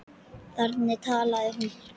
Þannig talaði hún.